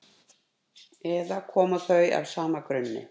eða koma þau af sama grunni